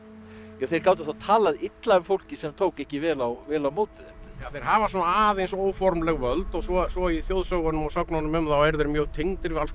þeir gátu talað illa um fólkið sem tók ekki vel á vel á móti þeim já þeir hafa svona aðeins óformleg völd og svo svo í þjóðsögunum og sögnunum um þá eru þeir mjög tengdir við alls konar